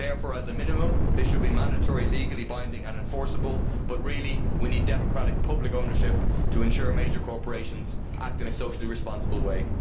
Therefore, as a minimum, they should be mandatory, legally binding and enforceable, but really we need democratic public ownership to ensure major corporations act in a socially responsible way.